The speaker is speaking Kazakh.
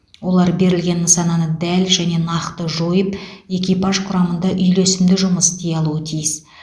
олар берілген нысананы дәл және нақты жойып экипаж құрамында үйлесімді жұмыс істей алуы тиіс